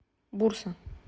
бурса